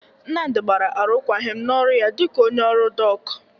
Nnamdị gbara arụkwagịm n'ọrụ ya dịka onye ọrụ dọk.